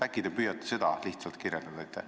Äkki te püüate seda kirjeldada.